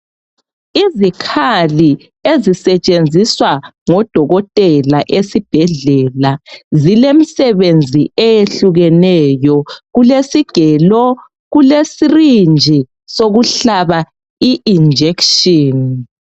izikhali ezisetshenziswa ngodokotela esibhedlela zilemisebenzi eyehlukeneyo kulesigelo kule srynge sokuhlaba ijekiseni